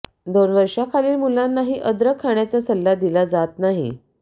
दोन वर्षांखालील मुलांनाही अदरक खाण्याचा सल्ला दिला जात नाही